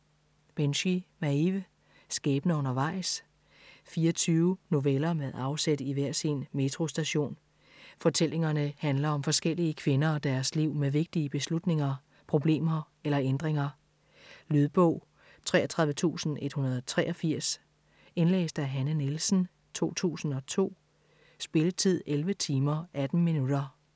Binchy, Maeve: Skæbner undervejs 24 noveller med afsæt i hver sin metrostation. Fortællingerne handler om forskellige kvinder og deres liv med vigtige beslutninger, problemer eller ændringer. Lydbog 33183 Indlæst af Hanne Nielsen, 2002. Spilletid: 11 timer, 18 minutter.